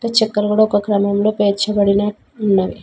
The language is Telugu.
చెక్కలు కూడా ఒక క్రమంలో పేర్చ బడిన ఉన్నవి.